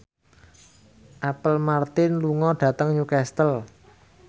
Apple Martin lunga dhateng Newcastle